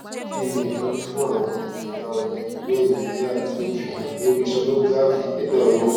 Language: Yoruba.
kini itọju fun àwọn ẹyà ọnà ibueyin bi a ti fihan lori sonography nigba oyun